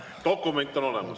Dokument on olemas.